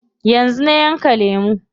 Yanzu na yanka lemu.